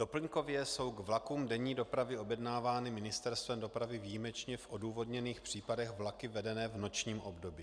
Doplňkově jsou k vlakům denní dopravy objednávány Ministerstvem dopravy výjimečně v odůvodněných případech vlaky vedené v nočním období.